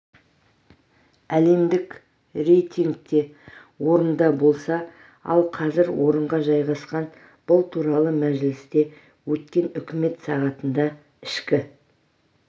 әлемдік рейтингте орында болса ал қазір орынға жайғасқан бұл туралы мәжілісте өткен үкімет сағатында ішкі